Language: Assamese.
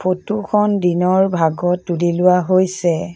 ফটো খন দিনৰ ভাগত তুলি লোৱা হৈছে।